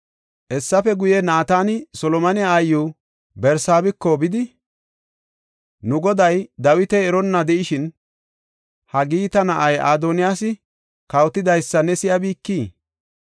Hessafe guye, Naatani Solomone aayiw Barsaabeko bidi, “Nu goday, Dawiti eronna de7ishin, Haagita na7ay Adoniyaasi kawotidaysa ne si7abikii?